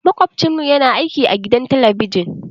Makwabcinmu yana aiki a gidan talabijin.